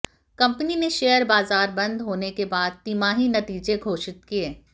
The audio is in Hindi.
कंपनी ने शेयर बाजार बंद होने के बाद तिमाही नतीजे घोषित किए